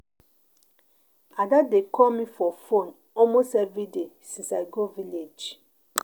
Ada dey call me for phone almost every day since I go village